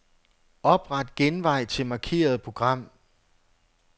Opret genvej til markerede program.